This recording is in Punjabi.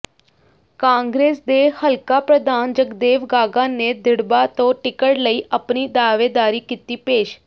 ਕਾਂਗਰਸ ਦੇ ਹਲਕਾ ਪ੍ਰਧਾਨ ਜਗਦੇਵ ਗਾਗਾ ਨੇ ਦਿੜ੍ਹਬਾ ਤੋਂ ਟਿਕਟ ਲਈ ਆਪਣੀ ਦਾਅਵੇਦਾਰੀ ਕੀਤੀ ਪੇਸ਼